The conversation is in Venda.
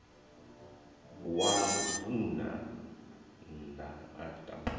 wa mubvann ḓa a tamaho